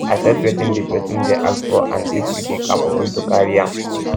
assess wetin di person dey ask for and if you dey capable to carry um am